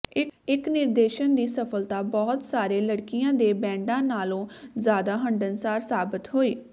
ਇੱਕ ਨਿਰਦੇਸ਼ਨ ਦੀ ਸਫਲਤਾ ਬਹੁਤ ਸਾਰੇ ਲੜਕਿਆਂ ਦੇ ਬੈਂਡਾਂ ਨਾਲੋਂ ਜ਼ਿਆਦਾ ਹੰਢਣਸਾਰ ਸਾਬਤ ਹੋਈ